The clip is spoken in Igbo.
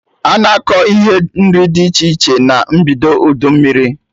Ana akọ ihe nri dị iche iche na mbido udu mmiri